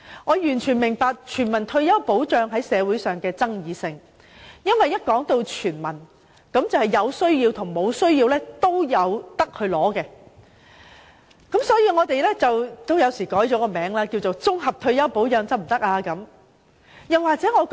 我完全明白全民退休保障在社會上具有爭議性，因為一旦說到"全民"，便意味無論是否有需要的市民都可領取退休金。